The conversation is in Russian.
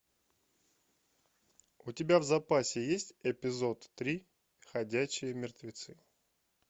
у тебя в запасе есть эпизод три ходячие мертвецы